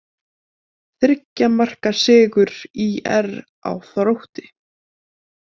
Þriggja marka sigur ÍR á Þrótti